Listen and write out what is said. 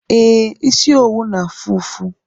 Ee, isi owu n'afu ufu